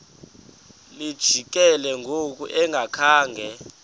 lijikile ngoku engakhanga